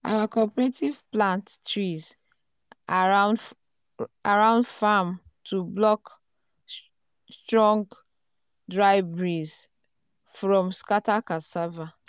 our cooperative plant trees around farm um to block strong dry breeze um from um scatter cassava.